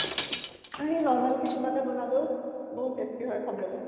সি normal ক কিবা এটা বনালো বহুত tasty হয় খাবলৈ।